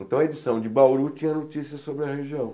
Então, a edição de Bauru tinha notícias sobre a região.